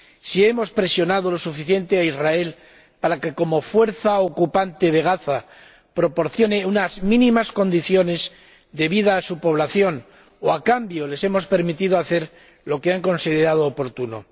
si hemos presionado lo suficiente a Israel para que, como fuerza ocupante de Gaza, proporcione unas mínimas condiciones de vida a su población, o si, en cambio, les hemos permitido hacer lo que han considerado oportuno